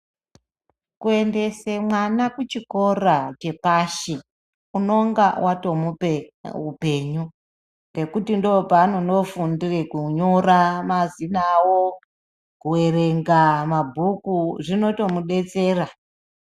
Kuendese mwana kuchikora chepashi unonga watomupe upenyu. Ngekuti ndoopaanonofundire kunyora mazina avo, kuerenga mabhuku, zvinotomudetsera.